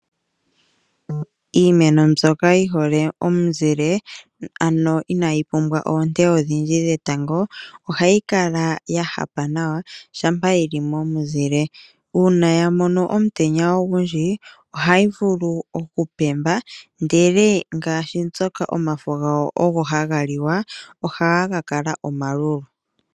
Iimeno mbyoka yi hole omuzile ano inayi pumwa oonte odhindji dhetango ohayi kala ya hapa nawa uuna yili momuzile uuna ya mono omutenya ogundji ohayi vulu okupemba ashike ngaashi mbyoka omafo gayo ogo haga liwa ohaga ka kala omalulu.